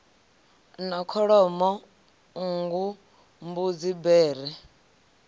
na kholomo nngu mbudzi bere